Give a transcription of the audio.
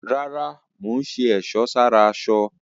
Rárá, mò ń ṣe ẹ̀sọ́ sára aṣọ